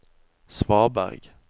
svaberg